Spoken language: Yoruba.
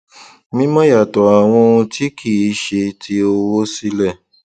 mímọ yàtọ àwọn ohun tí kì í ṣe ti owó sílẹ